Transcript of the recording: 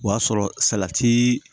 O y'a sɔrɔ salati